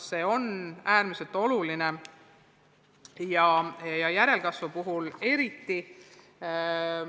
See on äärmiselt oluline, eriti järelkasvu seisukohast.